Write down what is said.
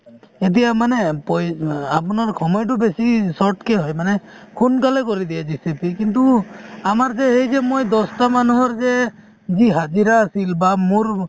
এতিয়া মানে পই অ আপোনাৰ সময়তো বেছি short কে হয় মানে সোনকালে কৰি দিয়ে JCB য়ে কিন্তু আমাৰ যে সেই যে মই দহটা মানুহৰ যে দিন হাজিৰা আছিল বা মোৰ